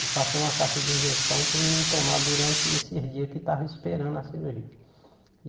Ele passou uma caixa de injeção para o menino tomar durante esses dias que estava esperando a cirurgia.